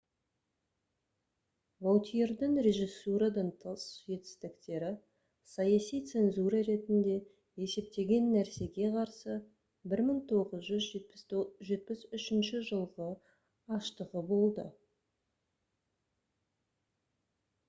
ваутьердің режиссурадан тыс жетістіктері саяси цензура ретінде есептеген нәрсеге қарсы 1973 жылғы аштығы болды